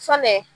Fɛnɛ